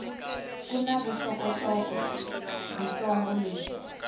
ku na vuxokoxoko byitsongo lebyi